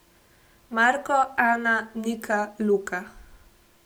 Marko, Ana, Nika, Luka ...